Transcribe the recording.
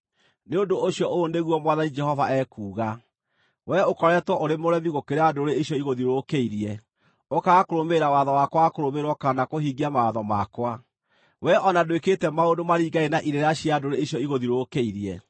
“Nĩ ũndũ ũcio ũũ nĩguo Mwathani Jehova ekuuga: Wee ũkoretwo ũrĩ mũremi gũkĩra ndũrĩrĩ ici igũthiũrũrũkĩirie, ũkaaga kũrũmĩrĩra watho wakwa wa kũrũmĩrĩrwo kana kũhingia mawatho makwa. Wee o na ndwĩkĩte maũndũ maringaine na irĩra cia ndũrĩrĩ icio igũthiũrũrũkĩirie.